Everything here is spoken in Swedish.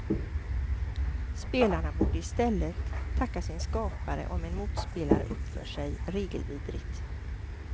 Spelarna borde i stället tacka sin skapare om en motspelare uppför sig regelvidrigt.